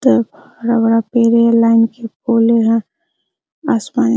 तरफ हरा भरा पेड़ हैं लाइन के पोले हैं आसमान --